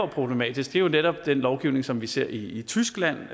problematisk er jo netop den lovgivning som vi ser i tyskland